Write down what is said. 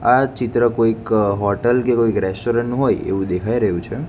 આ ચિત્ર કોઈક હોટલ કે કોઈક રેસ્ટોરન્ટ નુ હોય એવુ દેખાય રહ્યુ છે.